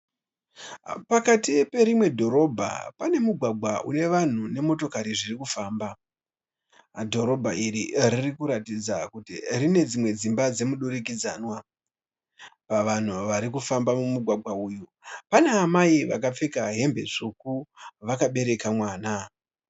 Pakati perimwe dhorobha pane mugwagwa une vanhu nemotokari zvirikufamba. Dhorobha iri ririkuratidza kuti rine dzimwe dzimba dzemudurikidzanwa. Pavanhu vari kufamba mumugwaga uyu pana amai vakapfeka hembe tsvuku vakabereka mwana.